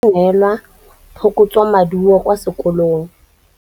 Lebogang o utlwile botlhoko tota fa a neelwa phokotsômaduô kwa sekolong.